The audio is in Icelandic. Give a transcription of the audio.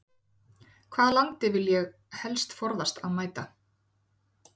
Hvaða landi vil ég helst forðast að mæta?